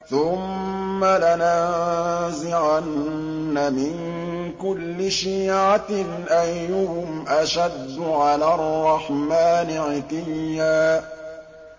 ثُمَّ لَنَنزِعَنَّ مِن كُلِّ شِيعَةٍ أَيُّهُمْ أَشَدُّ عَلَى الرَّحْمَٰنِ عِتِيًّا